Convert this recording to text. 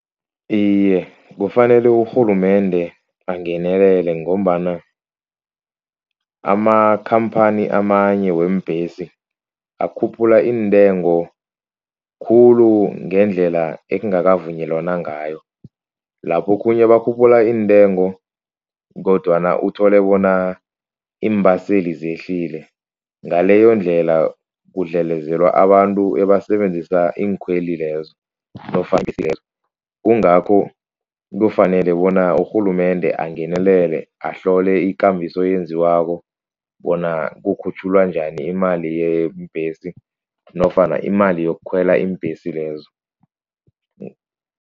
Iye, kufanele urhulumende angenelele ngombana amakhamphani amanye weembhesi, akhuphula iintengo khulu ngendlela ekungakavunyelwana ngayo. Lapha okhunye bakhuphula iintengo kodwana uthole bona iimbaseli zehlile. Ngaleyondlela kudlelezelwa abantu ebasebenzisa iinkhwelo lezi kungakho kufanele bona urhulumende angenelele, ahlole ikambiso eyenziwako bona kukhutjhulwa njani imali yeembhesi nofana imali yokukhwela iimbhesi lezo.